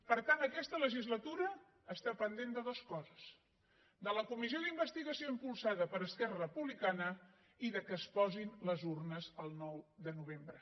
per tant aquesta legislatura està pendent de dues coses de la comissió d’investigació impulsada per esquerra republicana i del fet que es posin les urnes el nou de novembre